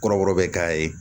Kɔrɔbɔrɔ bɛ k'a ye